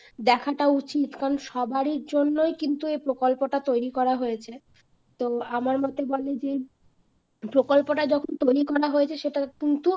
দেখাটা উচিত কারণ সবার জন্য কিন্তু এই প্রকল্পটা তৈরি করা হয়েছে তো আমার মোতে বলে যে প্রকল্পটা যখন তৈরি করা হয়েছে সেটা কিন্তু